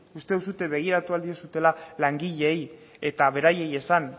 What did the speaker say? uste duzue begiratu ahal dituzuela langileei eta beraie esan